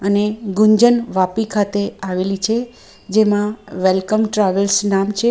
અને ગુંજન વાપી ખાતે આવેલી છે જેમાં વેલકમ ટ્રાવેલ્સ નામ છે.